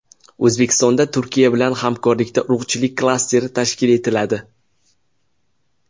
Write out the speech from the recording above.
O‘zbekistonda Turkiya bilan hamkorlikda urug‘chilik klasteri tashkil etiladi.